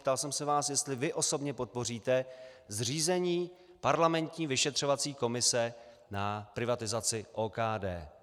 Ptal jsem se vás, jestli vy osobně podpoříte zřízení parlamentní vyšetřovací komise na privatizaci OKD.